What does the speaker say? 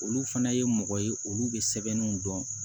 Olu fana ye mɔgɔ ye olu bɛ sɛbɛnniw dɔn